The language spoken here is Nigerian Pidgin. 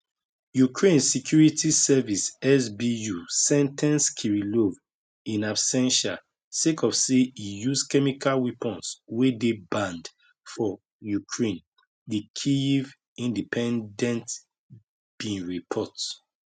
ukraine security service sbu sen ten ce kirillov in absentia sake of say e use chemical weapons wey dey banned for ukraine di kyiv independent bin report